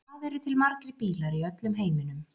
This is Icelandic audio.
Hvað eru til margir bílar í öllum heiminum?